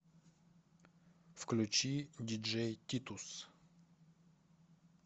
включи диджей титус